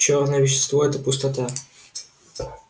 чёрное вещество это пустота